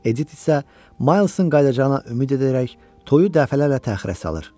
Edit isə Maysın qayıdacağına ümid edərək toyu dəfələrlə təxirə salır.